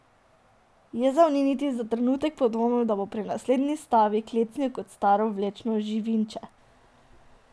Jezal ni niti za trenutek podvomil, da bo pri naslednji stavi klecnil kot staro vlečno živinče.